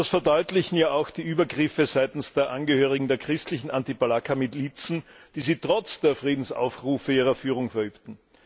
Das verdeutlichen ja auch die Übergriffe seitens der Angehörigen der christlichen Anti Balaka Milizen, die sie trotz der Friedensaufrufe ihrer Führung verübten.